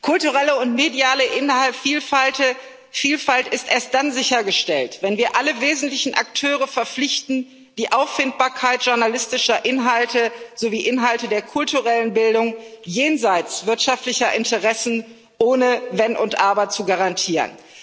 Kulturelle und mediale Vielfalt sind erst dann sichergestellt, wenn wir alle wesentlichen Akteure verpflichten, die Auffindbarkeit journalistischer Inhalte sowie Inhalte der kulturellen Bildung jenseits wirtschaftlicher Interessen ohne Wenn und Aber zu garantieren.